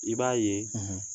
I b'a ye